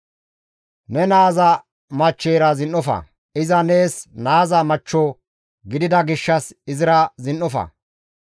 «Ne naaza machcheyra zin7ofa; iza nees naaza machcho gidida gishshas izira zin7ofa.